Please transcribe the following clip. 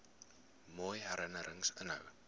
mooi herinnerings inhou